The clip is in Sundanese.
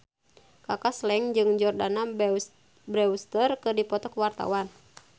Kaka Slank jeung Jordana Brewster keur dipoto ku wartawan